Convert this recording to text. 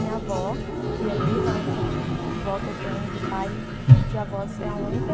minha avó, que é viva, a única vó que eu tenho do pai, de avós, é a única.